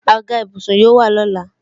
Àga ìbùsùn yóò wà lọ́la